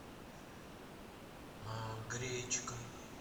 гречка